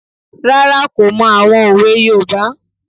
Rárá, kò mọ àwọn òwe yoòbá